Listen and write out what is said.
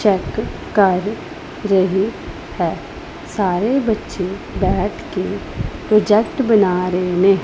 Check ਕਰ ਰਹੀ ਹੈ ਸਾਰੇ ਬੱਚੇ ਬੈਠ ਕੇ ਪ੍ਰੋਜੈਕਟ ਬਣਾ ਰਹੇ ਨੇ।